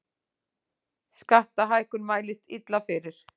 Skattahækkun mælist illa fyrir